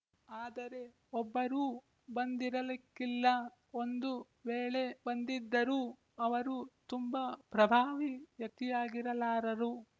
ಆದರೆ ಒಬ್ಬರೂ ಬಂದಿರಲಿಕ್ಕಿಲ್ಲ ಒಂದು ವೇಳೆ ಬಂದಿದ್ದರೂ ಅವರು ತುಂಬ ಪ್ರಭಾವಿ ವ್ಯಕ್ತಿಯಾಗಿರಲಾರರು